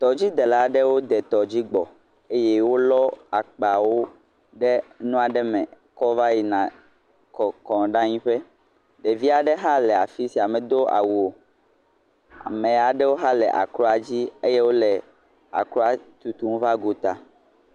Tɔdzidela aɖewo de tɔdzi gbɔ. Eye wolɔ akpawo ɖe nu aɖe me kɔ va yina kɔkɔ ɖe anyi ƒe. Ɖevi aɖe hã le fia sia, medo awu o. Ame aɖewo hã le akroa dzi eye wole akroa tutum va gota.